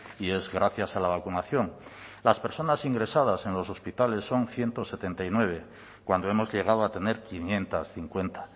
y es gracias a la vacunación las personas ingresadas en los hospitales son ciento setenta y nueve cuando hemos llegado a tener quinientos cincuenta